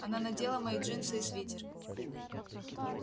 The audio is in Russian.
она надела мои джинсы и свитер